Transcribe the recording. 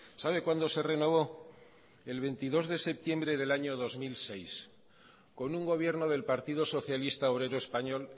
sabe cuándo se renovó el veintidós de septiembre del año dos mil seis con un gobierno del partido socialista obrero español